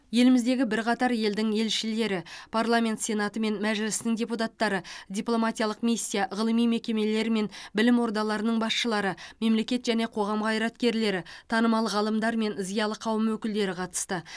еліміздегі бірқатар елдің елшілері парламент сенаты мен мәжілісінің депуттары дипломатиялық миссия ғылыми мекемелер мен білім ордаларының басшылары мемлекет және қоғам қайраткерлері танымал ғалымдар мен зиялы қауым өкілдері қатысты